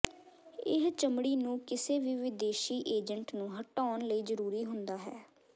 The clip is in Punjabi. ਇਹ ਚਮੜੀ ਨੂੰ ਕਿਸੇ ਵੀ ਵਿਦੇਸ਼ੀ ਏਜੰਟ ਨੂੰ ਹਟਾਉਣ ਲਈ ਜ਼ਰੂਰੀ ਹੁੰਦਾ ਹੈ